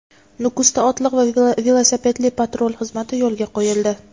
Nukusda otliq va velosipedli patrul xizmati yo‘lga qo‘yildi.